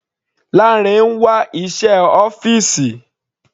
Lanre ń wá iṣẹ́ ọ́fìsì.